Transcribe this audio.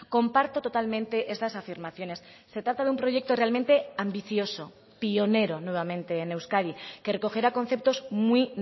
comparto totalmente estas afirmaciones se trata de un proyecto realmente ambicioso pionero nuevamente en euskadi que recogerá conceptos muy